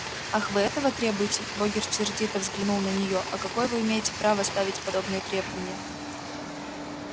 ах вы этого требуете богерт сердито взглянул на нее а какое вы имеете право ставить подобные требования